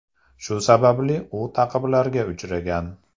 Shu sababli u ta’qiblarga uchragan.